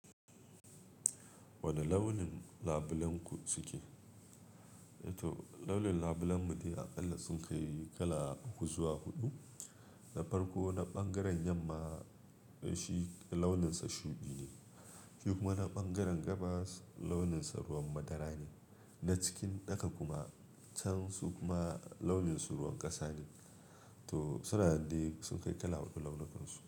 Wane launin labulenku suke? To launin labulen mu dai aƙalla sun kai kala uku zuwa huɗu. Na farko na ɓangaren yamma shi launinsa shuɗi ne, shi kuma na ɓangaren gabas launinsa ruwan madara ne, na cikin ɗaka kuma can su kuma launinsu ruwan ƙasa ne. To suna dai sun kai kala huɗu launukansu.